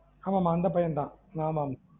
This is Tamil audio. ஆமா ஆமா அந்த பையன் தான்